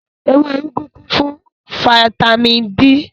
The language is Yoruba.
Ewé úgú kún fún fataímìn D.